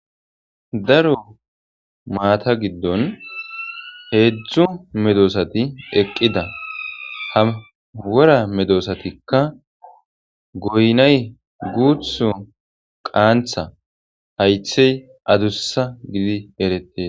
Daro maata giddon heedzdzu medosati eqqida hawera medosatikka goynay guutho qaantha haythey adussa gidi erete.